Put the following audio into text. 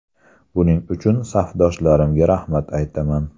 Buning uchun safdoshlarimga rahmat aytaman.